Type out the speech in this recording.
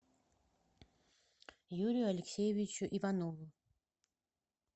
юрию алексеевичу иванову